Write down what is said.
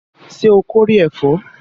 Ṣé o kórè ẹ̀fọ́?